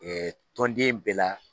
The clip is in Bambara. tɔnden bɛɛ la.